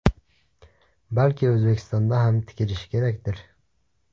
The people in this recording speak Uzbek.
Balki O‘zbekistonda ham tikilishi kerakdir.